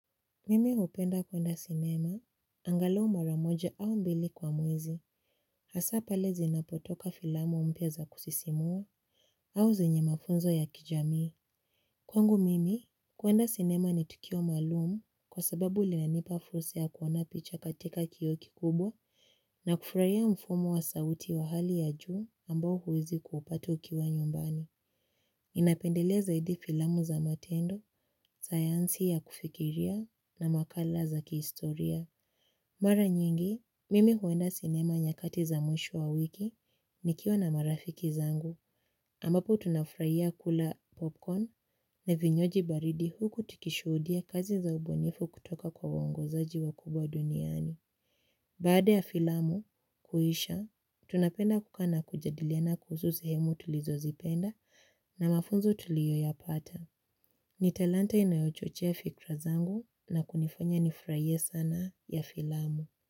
Mimi hupenda kuenda sinema, angalau mara moja au mbili kwa mwezi, hasa pale zinapotoka filamu mpya za kusisimua au zenye mafunzo ya kijamii. Kwangu mimi, kwenda sinema ni tukio maalumu kwa sababu linanipa fursa kuona picha katika kioo kikubwa na kufurahia mfumo wa sauti wa hali ya juu ambao huwezi kuupatu ukiwa nyumbani. Ninapendelea zaidi filamu za matendo, sayansi ya kufikiria na makala za kihistoria. Mara nyingi, mimi huenda sinema nyakati za mwisho wa wiki nikiwa na marafiki zangu. Ambapo tunafurahia kula popcorn na vinywaji baridi huku tikishuhudia kazi za ubunifu kutoka kwa wongo zaji wa kubwa duniani. Baada ya filamu, kuisha, tunapenda kukaa na kujadiliana kuhusu sehemu tulizo zipenda na mafunzo tuliyoyapata. Ni talanta inayochochea fikira zangu na kunifanya nifurahie sanaa ya filamu.